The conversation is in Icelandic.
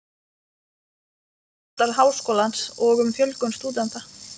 um húsnæðisvanda Háskólans og um fjölgun stúdenta.